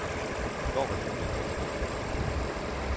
I går var det lige ved at gå galt igen.